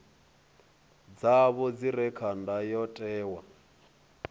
dzavho dzi re kha ndayotewa